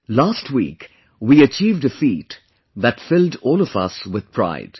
Last week we achieved a feat that filled all of us with pride